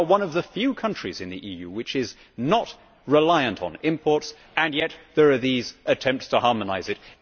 We are one of the few countries in the EU which is not reliant on imports and yet we face these attempts at harmonisation.